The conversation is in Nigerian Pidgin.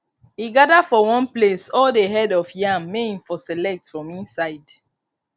he gather for one place all the head of yam may him for select from inside